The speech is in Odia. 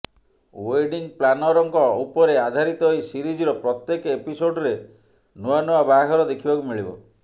ୱେଡିଂ ପ୍ଲାନରଙ୍କ ଉପରେ ଆଧାରିତ ଏହି ସିରିଜର ପ୍ରତ୍ୟେକ ଏପିସୋଡ୍ରେ ନୂଆ ନୂଆ ବାହାଘର ଦେଖିବାକୁ ମିଳିବ